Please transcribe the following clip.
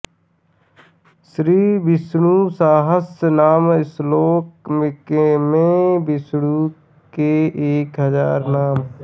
श्रीविष्णुसहस्रनाम श्लोक में विष्णु के एक हजार नाम